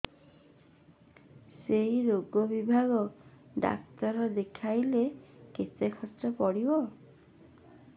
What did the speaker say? ସେଇ ରୋଗ ବିଭାଗ ଡ଼ାକ୍ତର ଦେଖେଇଲେ କେତେ ଖର୍ଚ୍ଚ ପଡିବ